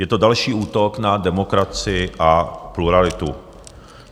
Je to další útok na demokracii a pluralitu.